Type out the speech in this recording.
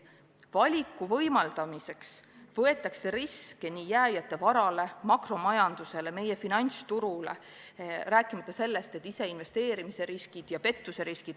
Valiku võimaldamiseks võetakse riske, mis ohustavad nii jääjate vara, makromajandust ja meie finantsturgu, rääkimata sellest, et tekivad ise investeerimise riskid ja pettuse riskid.